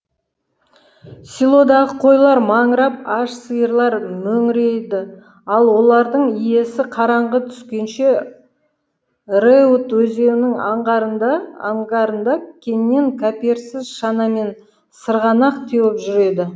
селодағы қойлар маңырап аш сиырлар мөңіреді ал олардың иесі қараңғы түскенше рэут өзенінің аңғарында қаннен қаперсіз шанамен сырғанақ теуіп жүр еді